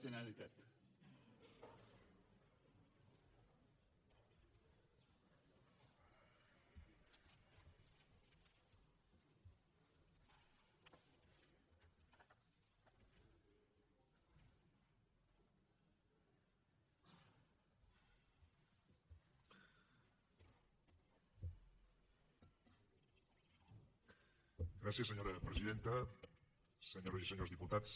gràcies senyora presidenta senyores i senyors diputats